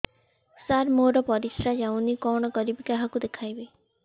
ସାର ମୋର ପରିସ୍ରା ଯାଉନି କଣ କରିବି କାହାକୁ ଦେଖେଇବି